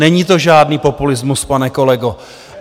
Není to žádný populismus, pane kolego!